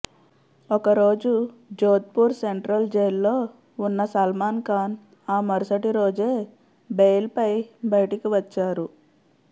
ఒకరోజు జోధ్పూర్ సెంట్రల్ జైల్లో ఉన్న సల్మాన్ ఖాన్ ఆ మరుసటి రోజే బెయిల్పై బయటికి వచ్చారు